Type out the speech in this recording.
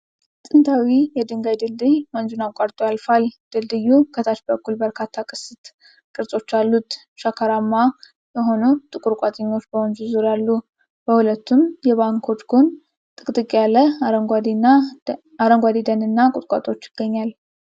ጥንታዊ የድንጋይ ድልድይ ወንዝን አቋርጦ ያልፋል። ድልድዩ ከታች በኩል በርካታ ቅስት ቅርጾች አሉት። ሸካራማ የሆኑ ጥቁር ቋጥኞች በወንዙ ዙሪያ አሉ። በሁለቱም የባንኮች ጎን ጥቅጥቅ ያለ አረንጓዴ ደንና ቁጥቋጦዎች ይገኛል።